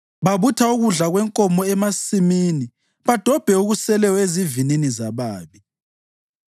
Babutha ukudla kwenkomo emasimini badobhe okuseleyo ezivinini zababi.